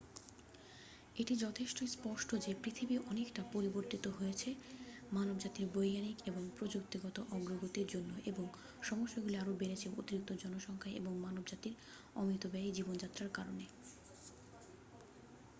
এটি যথেষ্ট স্পষ্ট যে পৃথিবী অনেকটা পরিবর্তিত হয়েছে মানবজাতির বৈজ্ঞানিক এবং প্রযুক্তিগত অগ্রগতির জন্য এবং সমস্যাগুলি আরও বেড়েছে অতিরিক্ত জনসংখ্যা এবং মানবজাতির অমিতব্যয়ী জীবনযাত্রার কারনে